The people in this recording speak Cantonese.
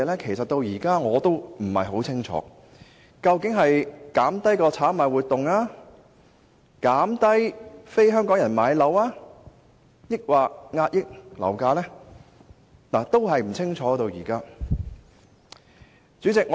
其實，我至今仍不清楚：究竟是打擊炒賣活動、減少非香港人買樓的情況，還是遏抑樓價？